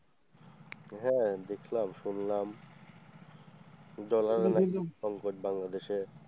হ্যাঁ দেখলাম, শুনলাম ডলারে নাকি সংকট বাংলাদেশে।